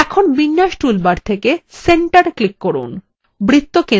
এখন বিন্যাস toolbar থেকে centre click করুন